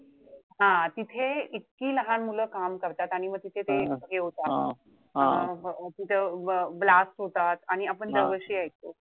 हा तिथे इतकी लहान मुलं काम करतात. आणि मग तिथे ते हे होत तिथे blast होतात. आणि आपण दरवर्षी ऐकतो.